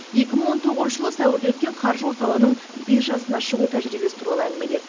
екі мың он тоғызыншы жылы сәуірде өткен қаржы орталығының биржасына шығу тәжірибесі туралы әңгімеледі